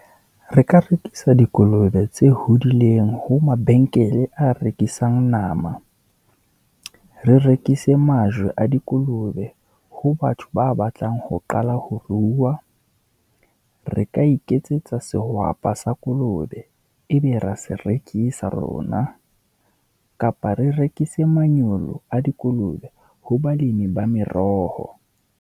Re ka rekisa dikolobe tse hodileng ho mabenkele a rekisang nama, re rekise majwe a dikolobe ho batho ba batlang ho qala ho ruwa. Re ka iketsetsa sehwapa sa kolobe, ebe ra serekisa rona, kapa re rekise manyolo a dikolobe ho balemi ba meroho.